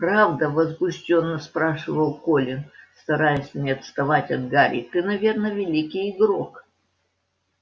правда возбуждённо спрашивал колин стараясь не отставать от гарри ты наверное великий игрок